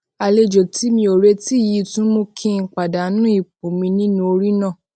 àlejò tí mi ò retí yìí tún mú kí n pàdánù ipò mi nínú ori naa